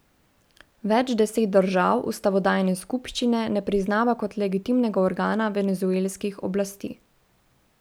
Več deset držav ustavodajne skupščine ne priznava kot legitimnega organa venezuelskih oblasti.